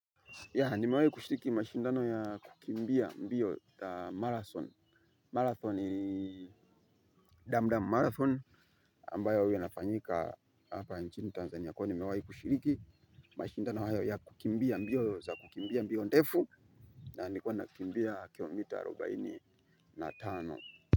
Yaah nimewahi kushiriki mashindano ya kukimbia mbio za marathon. Marathon ni Dam Dam Marathon ambayo huwa inafanyika hapa nchini Tanzania kwa hio nimewahi kushiriki mashindano haya ya kukimbia mbio za kukimbia mbio ndefu na nilikuwa nakimbia kilo mita arobaini na tano.